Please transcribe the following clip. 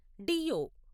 డియో